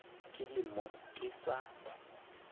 ke le mo ke sa